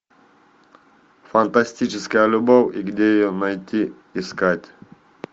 фантастическая любовь и где ее найти искать